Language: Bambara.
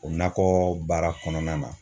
O nakɔ baara kɔnɔna na